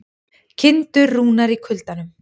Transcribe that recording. Kindur rúnar í kuldanum